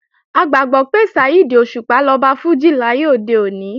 A gbàgbọ́ pé Saheed Òṣùpá lọba fújì láyé òde òní